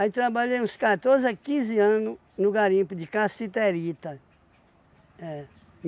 Aí trabalhei uns quatorze a quinze anos no garimpo de cassiterita. É.